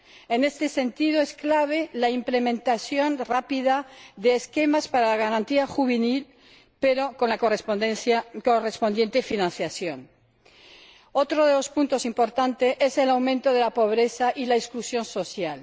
En este sentido, es clave la implementación rápida de esquemas para la garantía juvenil, pero con la correspondiente financiación. Otro de los puntos importantes es el aumento de la pobreza y la exclusión social.